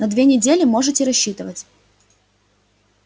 на две недели можете рассчитывать